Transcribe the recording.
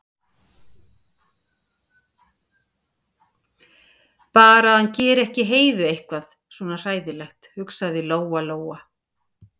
Bara að hann geri ekki Heiðu eitthvað svona hræðilegt, hugsaði Lóa-Lóa.